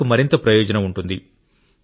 రైతులకు మరింత ప్రయోజనం ఉంటుంది